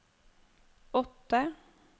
åtte